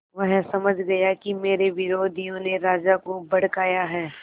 वह समझ गया कि मेरे विरोधियों ने राजा को भड़काया है